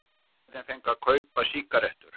Unglingar fengu að kaupa sígarettur